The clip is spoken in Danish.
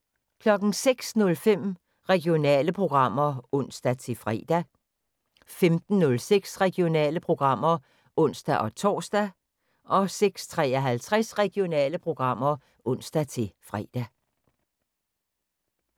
06:05: Regionale programmer (ons-fre) 15:06: Regionale programmer (ons-tor) 16:53: Regionale programmer (ons-fre)